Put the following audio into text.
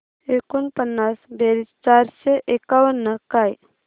एकोणपन्नास बेरीज चारशे एकावन्न काय